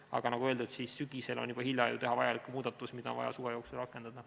Aga nagu öeldud, sügisel on juba hilja teha muudatust, mida on vaja suve jooksul rakendada.